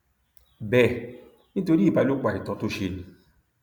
bẹẹ nítorí ìbálòpọ àìtọ tó ṣe ni